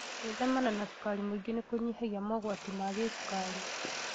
Gwĩthemana na cukari mũingĩ nĩkũnyihagia mogwati ma gĩcukari